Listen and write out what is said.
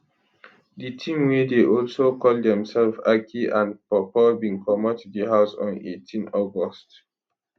di team wey dey also call demselves aki and pawpaw bin comot di house on 18 august